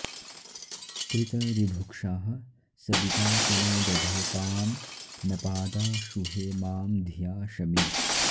त्रि॒त ऋ॑भु॒क्षाः स॑वि॒ता चनो॑ दधे॒ऽपां नपा॑दाशु॒हेमा॑ धि॒या शमि॑